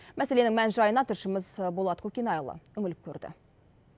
мәселенің мән жайына тілшіміз болат көкенайұлы үніліп көрді